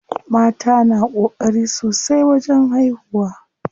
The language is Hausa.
Mata na ƙokari sosai wajen haihuwa.